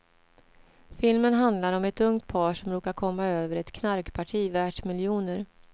Filmen handlar om ett ungt par som råkar komma över ett knarkparti värt miljoner.